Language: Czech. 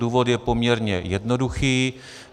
Důvod je poměrně jednoduchý.